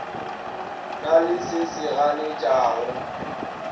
na le se se ganetšago